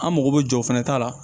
An mago bɛ jɔ o fana ta la